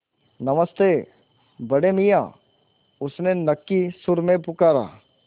नमस्ते बड़े मियाँ उसने नक्की सुर में पुकारा